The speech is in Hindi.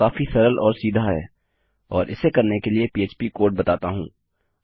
यह काफी सरल और सीधा है और इसे करने के लिए पह्प कोड बताता हूँ